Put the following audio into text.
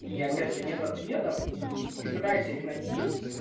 и опять же нет ответов и ты пытаешься их найти